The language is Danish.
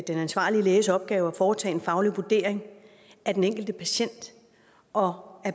den ansvarlige læges opgave at foretage en faglig vurdering af den enkelte patient og